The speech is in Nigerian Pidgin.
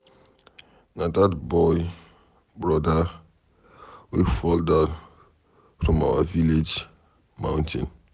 Na dat boy broda wey fall down from our village mountain.